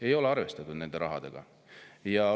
Ei ole arvestatud selle rahaga!